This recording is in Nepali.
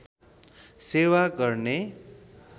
सेवा गर्ने